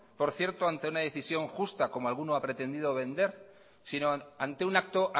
por cierto ante una decisión justa como alguno ha pretendido vender sino ante un acto